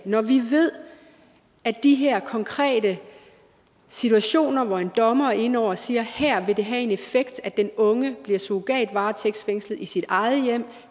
når vi ved at de her konkrete situationer hvor en dommer er inde over og siger at her vil det have en effekt at den unge bliver surrogatvaretægtsfængslet i sit eget hjem